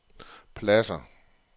pladsér